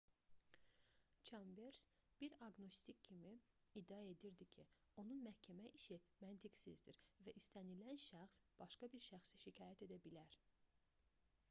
çambers bir aqnostik kimi iddia edir ki onun məhkəmə işi məntiqsizdir və istənilən şəxs başqa bir şəxsi şikayət edə bilər